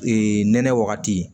nɛnɛ wagati